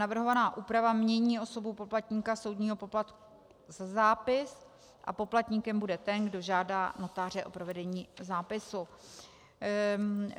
Navrhovaná úprava mění osobu poplatníka soudního poplatku za zápis a poplatníkem bude ten, kdo žádá notáře o provedení zápisu.